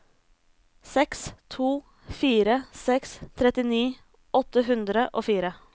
seks to fire seks trettini åtte hundre og fire